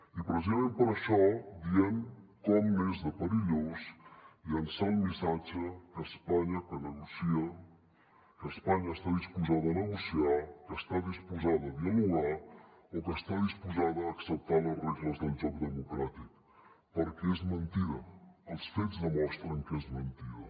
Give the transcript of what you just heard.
i precisament per això diem com n’és de perillós llançar el missatge que espanya negocia que espanya està disposada a negociar que està disposada a dialogar o que està disposada a acceptar les regles del joc democràtic perquè és mentida els fets demostren que és mentida